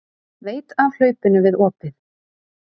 Veit af hlaupinu við opið.